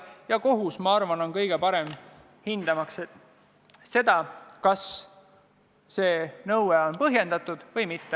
Ja kohus, ma arvan, on kõige parem hindama, kas nõue on põhjendatud või mitte.